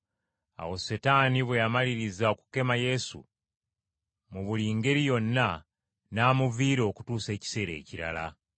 Awo Setaani bwe yamaliriza okukema Yesu mu buli ngeri yonna, n’amuviira okutuusa ekiseera ekirala.